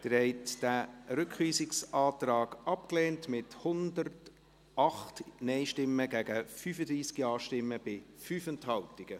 Sie haben diesen Rückweisungsantrag abgelehnt, mit 108 Nein- gegen 35 Ja-Stimmen bei 5 Enthaltungen.